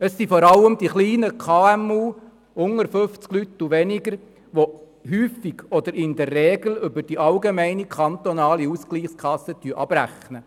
Es sind vor allem die kleinen KMU mit 50 und weniger Mitarbeitenden, welche in der Regel über die allgemeine kantonale Ausgleichskasse abrechnen.